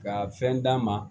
Ka fɛn d'a ma